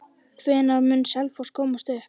Hvenær mun Selfoss komast upp?